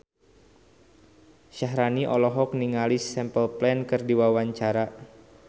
Syaharani olohok ningali Simple Plan keur diwawancara